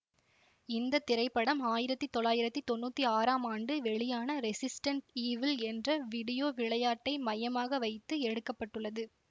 இந்த திரைப்படம் ஆயிரத்தி தொள்ளாயிரத்தி தொன்னூத்தி ஆறாம் ஆண்டு வெளியான ரெசிஸ்டென்ட் ஈவில் என்ற விடியோ விளையாட்டை மையமாக வைத்து எடுக்க பட்டுள்ளது